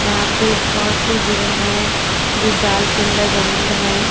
यहां पे बहोत से हिरन है जो जाल के अंदर बंद है।